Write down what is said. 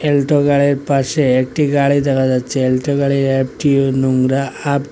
Alto গাড়ির পাশে একটি গাড়ি দেখা যাচ্ছে অ্যালটো গাড়ির অ্যাপটি নোংরা আপটি --